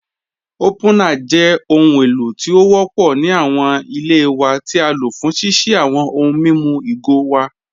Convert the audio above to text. Opunar jẹ̀ ọhun èlò tí o wọ́pọ̀ ni awọn ilẹ̀ wa ti á ló fún ṣíṣí awọn ọ̀hùn mímú igo wa.